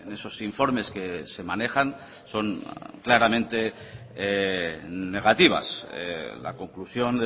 esos informes que se manejan son claramente negativas la conclusión